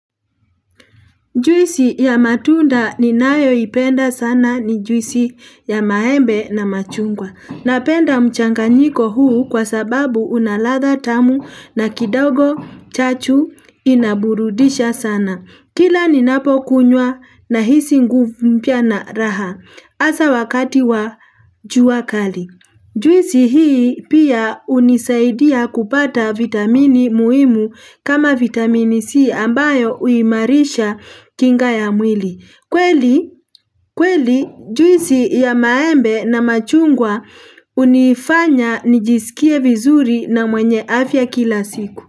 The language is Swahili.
Juisi ya matunda ninayoipenda sana ni juisi ya maembe na machungwa. Napenda mchanganyiko huu kwa sababu una ladha tamu na kidogo chachu inaburudisha sana. Kila ninapokunywa nahisi nguvu mpya na raha hasa wakati wa jua kali. Juisi hii pia hunisaidia kupata vitamini muhimu kama vitamini C ambayo huimarisha kinga ya mwili. Kweli juisi ya maembe na machungwa hunifanya nijisikie vizuri na mwenye afya kila siku.